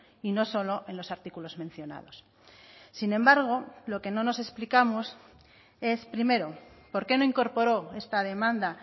y no solo en los artículos mencionados sin embargo lo que no nos explicamos es primero por qué no incorporó esta demanda